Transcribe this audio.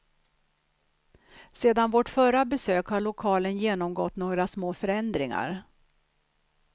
Sedan vårt förra besök har lokalen genomgått några små förändringar.